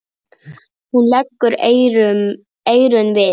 Hún leggur eyrun við.